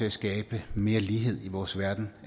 at skabe mere lighed i vores verden